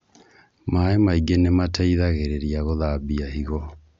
Maĩ maingĩ nimateithagĩeĩria gũthambia higo